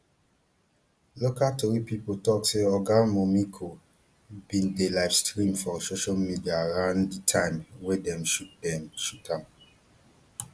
local tori pipo tok say oga momiko bin dey livestream for social media around di time wey dem shoot dem shoot am